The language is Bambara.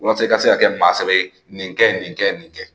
Walasa i ka se ka kɛ maa sɛbɛ ye, nin kɛ nin kɛ nin kɛ.